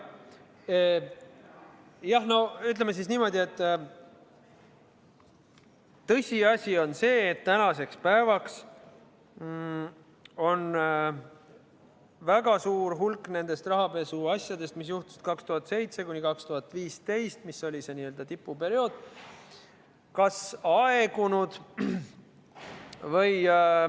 Jah, no ütleme siis niimoodi, et tõsiasi on see, et tänaseks päevaks on väga suur hulk nendest rahapesuasjadest, mis juhtusid 2007–2015, kui oli see n-ö tipuperiood, aegunud.